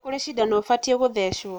Nĩ kurĩ cindano ũbatiĩ kũthecwo.